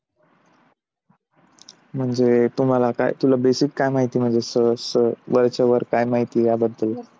म्हणजे तुम्हाला काय? basic काय माहिती आहे? म्हणजे तुम्हाला सहज वरच्यावर काय माहिती आहे याबद्दल?